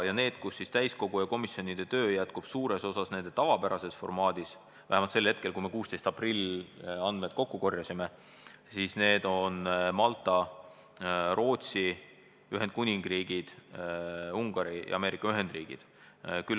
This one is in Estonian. Riigid, kus täiskogu ja komisjonide töö jätkub suures osas nende tavapärases formaadis, olid vähemalt 16. aprillil, kui me andmed kokku korjasime, Malta, Rootsi, Ühendkuningriik, Ungari ja Ameerika Ühendriigid.